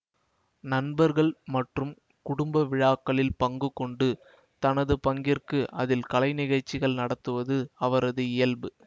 நண்பர்கள் மற்றும் குடும்ப விழாக்களில் பங்கு கொண்டு தனது பங்கிற்கு அதில் கலை நிகழ்ச்சிகள் நடத்துவது அவரது இயல்பு